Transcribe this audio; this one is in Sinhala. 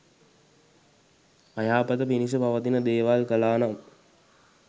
අයහපත පිණිස පවතින දේවල් කළා නම්